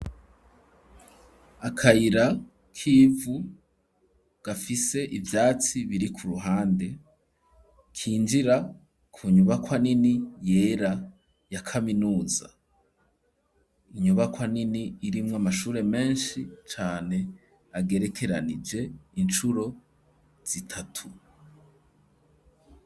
Akayira k'ivu gafise ivyatsi biri ku ruhande kinjira ku nyubakwa nini yera ya kaminuza inyubakwa nini irimwo amashure meshi cane agerekeranije incuro zitatu.